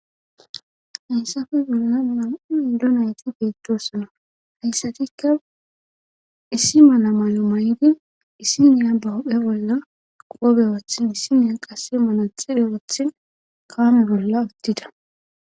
Haysafe bolla nam7 ido nayti beettosona hayssatikka issi mala malu may7di issiniya ba huphe bolla qoobe woth missineya qassi mala xibhe wothi kaame bolla uttida